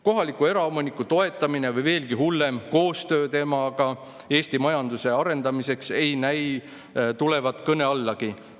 Kohaliku eraomaniku toetamine või veelgi hullem – koostöö temaga Eesti majanduse arendamiseks ei näi tulevat kõne allagi.